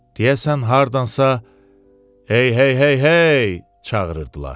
Deyəsən hardansa "Hey, hey, hey, hey!" çağırırdılar.